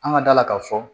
An ka d'a la k'a fɔ